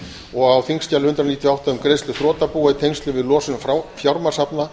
og á þingskjali hundrað níutíu og átta um greiðslur þrotabúa í tengslum við losun fjármagnshafta